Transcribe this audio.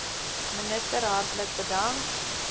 minister hartlik bedank